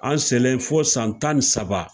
An selen fo san tan ni saba